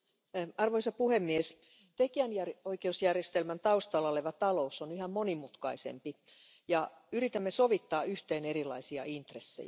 Arvoisa puhemies, tekijänoikeusjärjestelmän taustalla oleva talous on yhä monimutkaisempi ja yritämme sovittaa yhteen erilaisia intressejä.